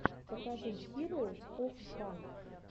покажи хироус оф фан